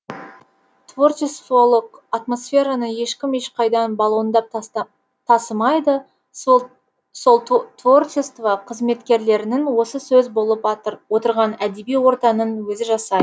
творчестволық атмосфераны ешкім ешқайдан балондап тасымайды сол творчество қызметкерлерінің осы сөз болып отырған әдеби ортаның өзі жасайды